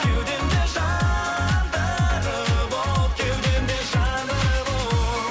кеудемде жандырып от кеудемде жандырып от